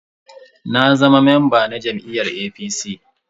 Na zama mamba na jam'iyyar APC.